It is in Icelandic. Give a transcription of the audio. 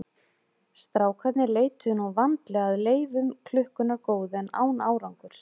Strákarnir leituðu nú vandlega að leifum klukkunnar góðu en án árangurs.